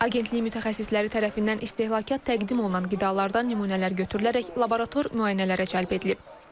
Agentliyin mütəxəssisləri tərəfindən istehlakçılara təqdim olunan qidalardan nümunələr götürülərək laborator müayinələrə cəlb edilib.